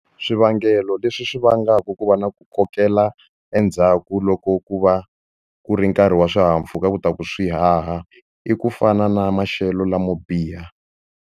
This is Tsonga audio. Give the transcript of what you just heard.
Swivangelo leswi swi vangaka ku va na ku kokela endzhaku loko ku va ku ri nkarhi wa swihahampfhuka ku ta ku swi haha i ku fana na maxelo lamo biha.